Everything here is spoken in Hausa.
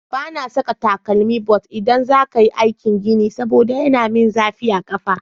Ba na saka takalmi but idan za ka yi aikin gini saboda yana yi min zafi a ƙafa.